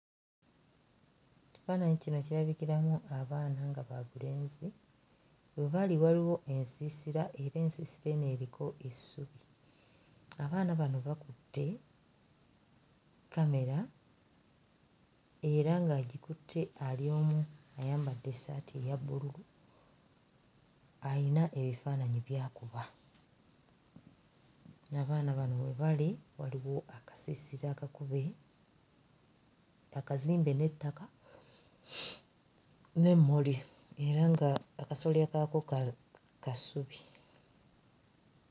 Ekifaananyi kino kirabikiramu abaana nga babulenzi, we bali waliwo ensiisira era ensiisira eno eriko essubi, abaana bano bakutte kkamera era ng'agikutte ali omu ayambadde essaati eya bbululu ayina ebifaananyi by'akuba. Abaana bano we bali waliwo akasiisira akakube, akazimbe n'ettaka n'emmuli era nga akasolya kaakwo ka ka ssubi.